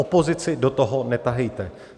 Opozici do toho netahejte.